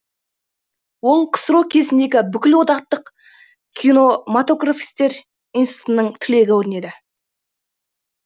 ол ксро кезіндегі бүкілодақтық киномотографисттер институтының түлегі көрінеді